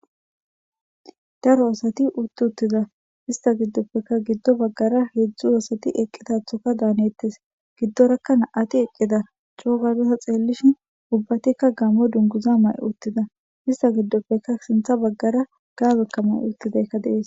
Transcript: Daaro asati utti uttida ista gidoppe gido bagara heezhzhu asati eqqida dettes gidoraka nam'ati eqqida co gada ta xellishin ubbatika gamo dunguza mai uttida istappe sinththe bagara gaabeka mayi uttidayka desi.